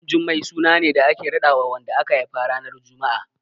Ɗanjummai suna ne da ake raɗawa wanda aka haifa ranar Juma'a.